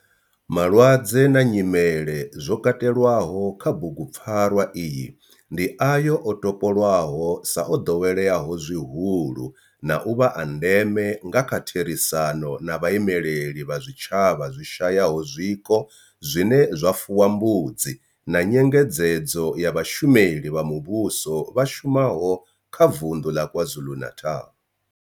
Malwadze na nyimele zwo katelwaho kha bugupfarwa iyi ndi ayo o topolwaho sa o doweleaho zwihulu na u vha a ndeme nga kha therisano na vhaimeleli vha zwitshavha zwi shayaho zwiko zwine zwa fuwa mbudzi na nyengedzedzo ya vhashumeli vha muvhusho vha shumaho kha Vundu la KwaZulu-Natal.